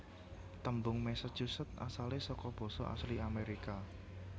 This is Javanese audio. Tembung Massachusetts asalé saka basa asli Amérika